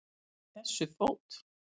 Í þessu fót